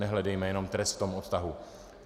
Nehledejme jenom trest v tom odtahu.